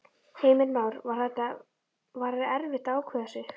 Heimir Már: Var þetta, var erfitt að ákveða sig?